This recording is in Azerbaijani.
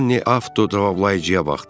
Anne avto cavablayıcıya baxdı.